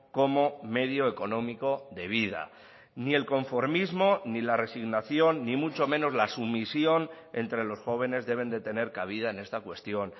como medio económico de vida ni el conformismo ni la resignación ni mucho menos la sumisión entre los jóvenes deben de tener cabida en esta cuestión